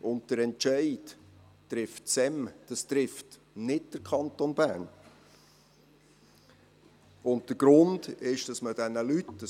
Den Entscheid trifft das Staatssekretariat für Migration (SEM), nicht der Kanton Bern.